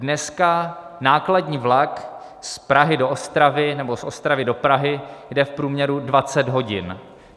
Dneska nákladní vlak z Prahy do Ostravy nebo z Ostravy do Prahy jede v průměru 20 hodin.